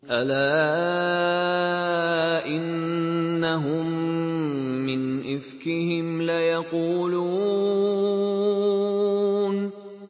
أَلَا إِنَّهُم مِّنْ إِفْكِهِمْ لَيَقُولُونَ